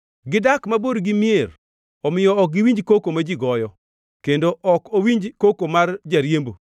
Gidak mabor gi mier, omiyo ok giwinj koko ma ji goyo; kendo ok owinj koko mar jariembo.